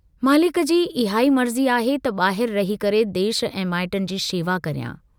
मालिक जी इहाई मर्जी आहे त बाहिर रही करे देश ऐं माइटनि जी शेवा करियां।